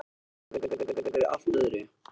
Hún hafði búist við einhverju allt öðru.